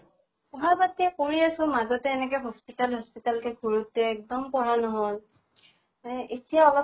পঢ়া পাতি কৰি আছো, মাজতে এনেকে hospital hospital কে ঘুৰোতে এক্দম পঢ়া নহল। এহ এতিয়া অলপ